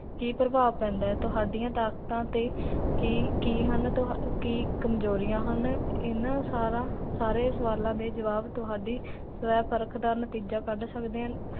ਕੀ ਪ੍ਰਭਾਵ ਪੇੰਦਾ ਹੈ? ਤੁਹਾਡੀਆਂ ਤਾਕਤਾਂ ਤੇ ਕੀ, ਕੀ ਹਨ? ਕੀ ਕਮਜੋਰੀਅਨ ਹਨ? ਇਨਾ ਸਾਰਾ ਸਾਰੇ ਸਾਵਲਾਂ ਦੇ ਜਵਾਬ, ਤੁਹਾਡੀ ਸਵੈ ਪਰਖ ਦਾ ਨਤੀਜਾ ਕਡ ਸਕਦੇ ਹਨ l